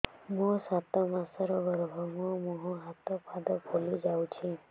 ମୋ ସାତ ମାସର ଗର୍ଭ ମୋ ମୁହଁ ହାତ ପାଦ ଫୁଲି ଯାଉଛି